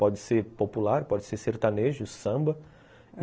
Pode ser popular, pode ser sertanejo, samba.